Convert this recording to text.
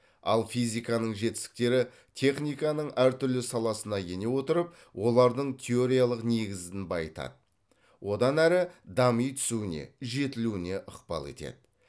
ал физиканың жетістіктері техниканың әр түрлі саласына ене отырып олардың теориялық негізін байытады одан әрі дами түсуіне жетілуіне ықпал етеді